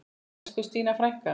Elsku Stína frænka.